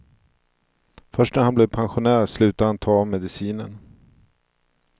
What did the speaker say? Först när han blev pensionär slutade han ta medicinen.